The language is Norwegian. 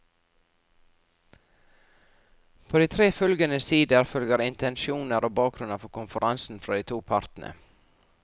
På de tre følgende sider følger intensjoner og bakgrunnen for konferansen fra de to partene.